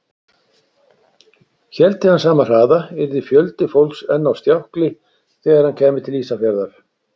Héldi hann sama hraða, yrði fjöldi fólks enn á stjákli þegar hann kæmi til Ísafjarðar.